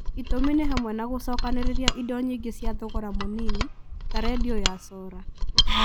Itũmi nĩ hamwe na gũcokanĩrĩria indo nyingĩ cia thogora mũnini ta rendio ya cora.